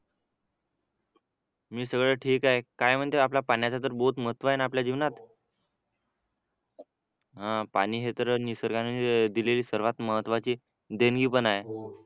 मी सगळं ठीक आहे काय म्हणते आपल्या पाण्याचं तर बहुत महत्व आहे ना आपल्या जीवनात अं पाणी हे तर निसर्गाने दिलेली सर्वात महत्त्वाचे देणगी पण आहे